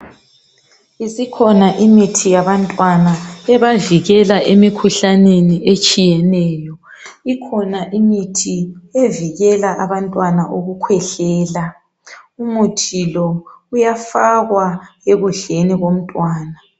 Isikhona imithi yabantwana ebavikela emikhuhlaneni etshiyeneyo. Ikhona imithi evikela abantwana ukukhwehlela. Umuthi lo uyafakwa ekudleni komntwana.